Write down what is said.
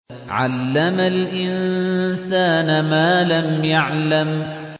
عَلَّمَ الْإِنسَانَ مَا لَمْ يَعْلَمْ